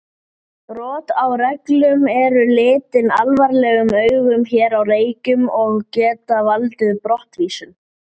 Kryddið með salti og pipar.